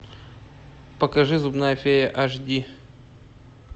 покажи зубная фея аш ди